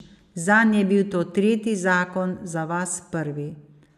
Zanj je bil to tretji zakon, za vas prvi.